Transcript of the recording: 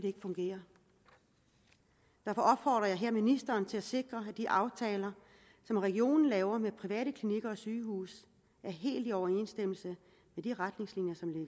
ikke fungere derfor opfordrer jeg her ministeren til at sikre at de aftaler som regionen laver med private klinikker og sygehuse er helt i overensstemmelse